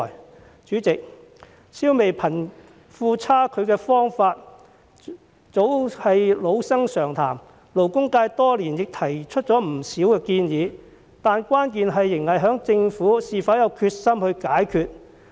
代理主席，消弭貧富差距的方法早是老生常談，勞工界多年來亦提出了不少建議，但關鍵仍在於政府是否有決心解決。